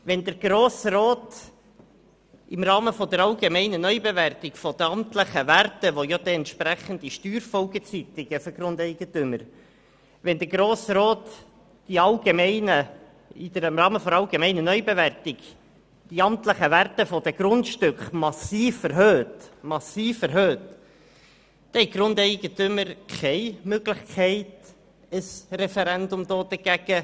Wenn der Grosse Rat im Rahmen der allgemeinen Neubewertung die amtlichen Werte der Grundstücke massiv und mit entsprechenden Steuerfolgen für die Grundeigentümer erhöht, dann haben die Grundeigentümer keine Möglichkeit, dagegen das Referendum zu ergreifen.